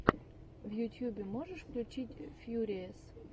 в ютьюбе можешь включить фьюриэс